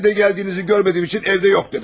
Mən də gəldiyinizi görmədiyim üçün evdə yox dedim.